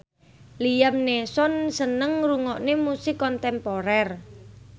Liam Neeson seneng ngrungokne musik kontemporer